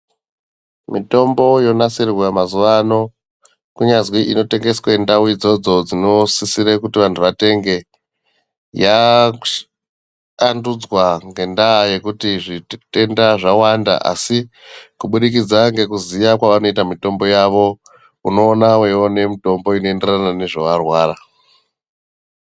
Mitombo yonasirwa mazuwaano, kunyazi inotengeswe ndau idzodzo dzinosisirwe kuti vantu vatenge, yakavandudzwa ngendaa yekuti zvite tenda zvawanda, asi kubudikidza ngekuziya kwavanoita mitombo yavo unoona weione mitombo inoenderana nezvawarwara.